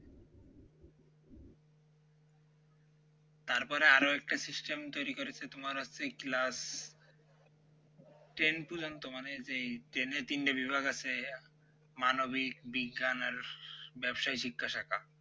তারপরে আরও একটা system তৈরি করেছে তোমার হচ্ছে class ten পর্যন্ত মানে যেই ten এ তিনটে বিভাগ আছে মানবিক বিজ্ঞান আর ব্যবসায়ী জিজ্ঞাসাকার